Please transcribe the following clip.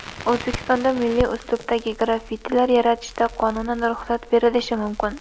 O‘zbekistonda milliy uslubdagi graffitilar yaratishga qonunan ruxsat berilishi mumkin.